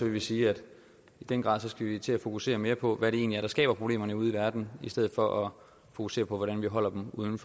vi sige at vi i den grad skal til at fokusere mere på hvad det egentlig er der skaber problemerne ude i verden i stedet for at fokusere på hvordan vi holder dem uden